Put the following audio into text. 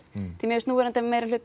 mér finnst núverandi